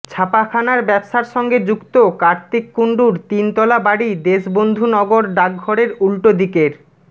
ছাপাখানার ব্যবসার সঙ্গে যুক্ত কার্তিক কুণ্ডুর তিনতলা বাড়ি দেশবন্ধু নগর ডাকঘরের উল্টো দিকের